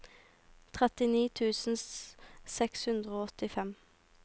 trettini tusen seks hundre og åttifem